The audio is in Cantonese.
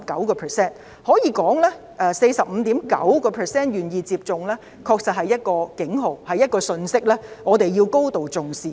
可以說，香港只有 45.9% 的人願意接種，確實是一個警號、一個信息，我們要高度重視。